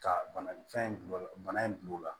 Ka bana fɛn in bila bana in gulonna